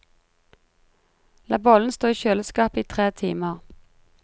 La bollen stå i kjøleskapet i tre timer.